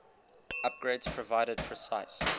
upgrades provided precise